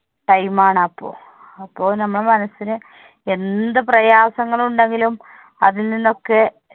time ആണ് അപ്പൊ. അപ്പൊ നമ്മുടെ മനസ്സിന് എന്ത് പ്രയാസങ്ങൾ ഉണ്ടെങ്കിലും അതിൽ നിന്നൊക്കെ